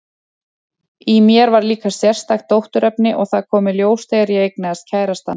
Í mér var líka sérstakt dótturefni, og það kom í ljós þegar ég eignaðist kærastann.